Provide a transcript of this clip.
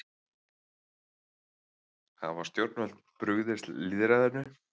Hafa stjórnvöld brugðist lýðræðinu?